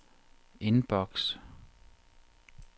inbox